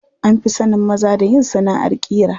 An fi sanin maza da yin sanaʼar ƙira.